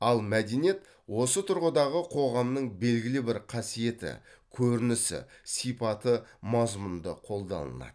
ал мәдениет осы тұрғыдағы қоғамның белгілі бір қасиеті көрінісі сипаты мазмұнында қолданылады